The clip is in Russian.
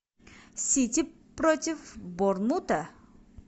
сити против борнмута